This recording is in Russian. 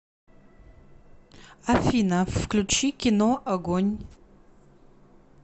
афина включи кино огонь